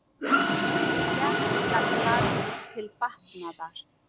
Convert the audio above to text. Berja skal barn til batnaðar.